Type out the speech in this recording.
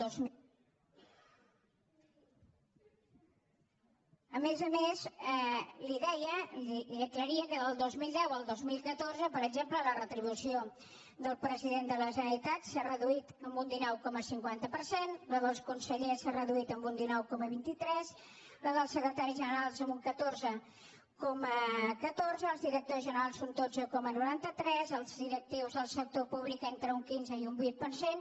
a més a més li deia i li aclaria que del dos mil deu al dos mil catorze per exemple la retribució del president de la ge·neralitat s’ha reduït en un dinou coma cinquanta per cent la dels conse·llers s’ha reduït en un dinou coma vint tres la dels secretaris generals en un catorze coma catorze els directors generals un dotze coma noranta tres els direc·tius dels sector públic entre un quinze i un vint per cent